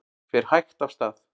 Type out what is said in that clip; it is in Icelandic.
Fer hægt af stað